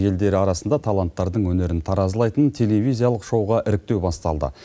елдері арасында таланттардың өнерін таразылайтын телевизиялық шоуға іріктеу басталды